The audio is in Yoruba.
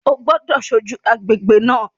O gbọ́dọ̀ ṣojú agbègbè náà